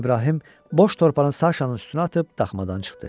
İbrahim boş torbanı Saşanın üstünə atıb daxmadan çıxdı.